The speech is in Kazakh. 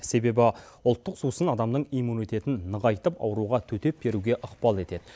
себебі ұлттық сусын адамның иммунитетін нығайтып ауруға төтеп беруге ықпал етеді